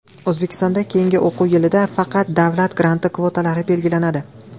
O‘zbekistonda keyingi o‘quv yilidan faqat davlat granti kvotalari belgilanadi.